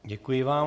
Děkuji vám.